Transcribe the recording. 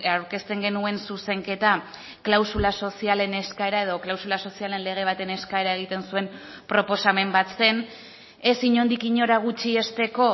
aurkezten genuen zuzenketa klausula sozialen eskaera edo klausula sozialen lege baten eskaera egiten zuen proposamen bat zen ez inondik inora gutxiesteko